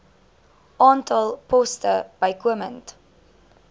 aantal poste bykomend